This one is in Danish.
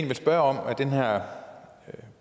ville spørge om er den her